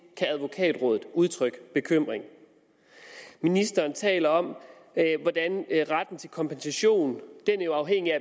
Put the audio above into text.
kan advokatrådet udtrykke bekymring ministeren taler om hvordan retten til kompensation er afhængig af